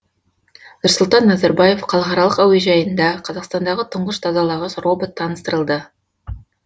нұрсұлтан назарбаев халықаралық әуежайында қазақстандағы тұңғыш тазалағыш робот таныстырылды